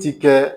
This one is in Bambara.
Ti kɛ